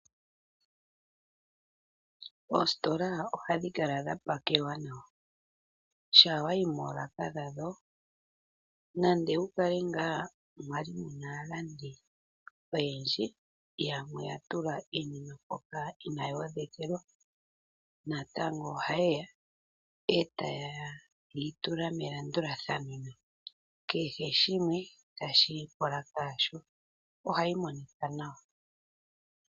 Oositola oha dhi kala dha pakelwa nawa. Shaa wa yi moolaka dhadho, nande wu kale ngaa muna aalandi oyendji, iha mu tulwa iinima mbika Ina yi odhekelwa, oha ye yi tula melandulathano, kehe shimwe ta shi yi polaka yasho, oha yi Monika nawa.